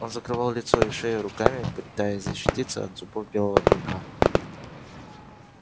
он закрывал лицо и шею руками пытаясь защититься от зубов белого клыка